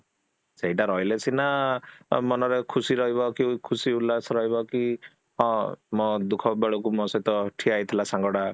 ସେଟା ରହିଲେ ସିନା ମନରେ ଖୁସି ରହିବ କି, ଖୁସି ଉଲ୍ଲାସ ରହିବ କି ହଁ ମୋ ଦୁଖ ବେଳକୁ ମୋ ସହିତ ଠିଆ ହେଇଥିଲା ସାଙ୍ଗଟା